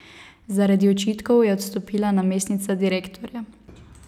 Zaradi očitkov je odstopila namestnica direktorja.